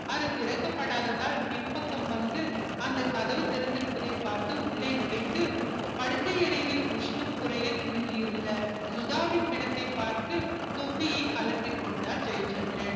அது திறக்க படாததால் பின்பக்கம் வந்து அந்த கதவு திறந்து இருப்பதை பார்த்து உள்ளே நுழைந்து படுக்கை அறையில் உஷ்ணம் குறைய துவங்கி இருந்த சுதாவின் பிணத்தை பார்த்து தொப்பியை கழட்டிக்கொண்டார் ஜெயசந்திரன்